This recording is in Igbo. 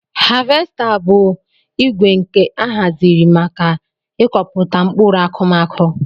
Havesta bu igwe nke ahaziri maka ikọpụta nkpụrụ akụmakụ.